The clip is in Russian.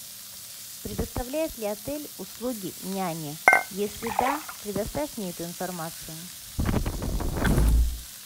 предоставляет ли отель услуги няни если да предоставь мне эту информацию